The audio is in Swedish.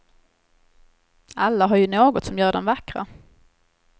Alla har ju något som gör dem vackra.